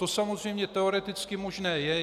To samozřejmě teoreticky možné je.